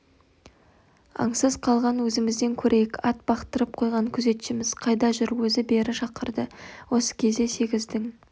аңсыз қалған өзімізден көрейік ат бақтырып қойған күзетшіміз қайда жүр өзі бері шақырды осы кезде сегіздің